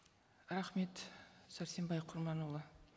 рахмет сәрсенбай құрманұлы